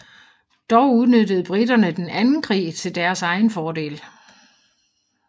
Dog udnyttede briterne den anden krig til deres egen fordel